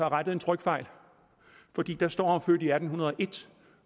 rettet en trykfejl fordi der står var født i atten hundrede og en